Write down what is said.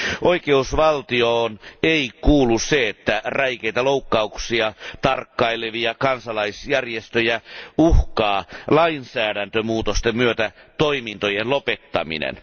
Oikeusvaltioon ei kuulu se, että räikeitä loukkauksia tarkkailevia kansalaisjärjestöjä uhkaa lainsäädäntömuutosten myötä toimintojen lopettaminen.